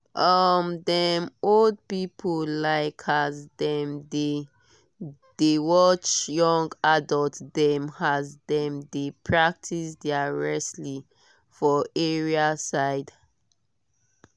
um dem old people like as dem dey watch young adults dem as dem dey practice their wrestling for area side